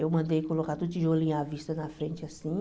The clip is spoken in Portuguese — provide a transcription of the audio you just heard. Eu mandei colocar tudo tijolinho à vista na frente, assim.